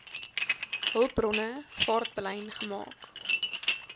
hulpbronne vaartbelyn gemaak